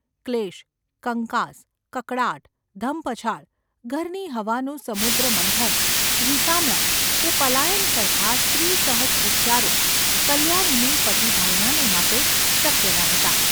ક્લેશ, કંકાસ, કકળાટ, ધમપછાડ, ઘરની હવાનું સમુદ્રમંથન રિસામણાં કે પલાયન સરખા સ્ત્રીસહજ ઉપચારો કલ્યાણીની પતિભાવનાને માટે શક્ય ન હતા.